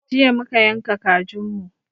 Jiya muka yanka kajin mu